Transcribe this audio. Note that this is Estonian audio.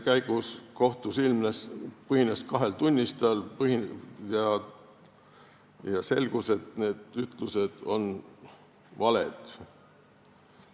Näiteks põhines üks kaasus kahe tunnistaja ütlustel, aga selgus, et need ütlused olid valed.